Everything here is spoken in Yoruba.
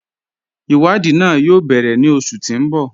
Iwadii náà yóò bẹ̀rẹ̀ ní oṣù tí n bọ́.